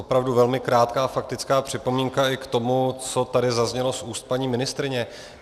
Opravdu velmi krátká faktická připomínka i k tomu, co tady zaznělo z úst paní ministryně.